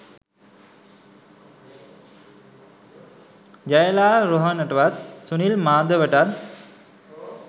ජයලාල් රෝහණටවත් සුනිල් මාධවටත්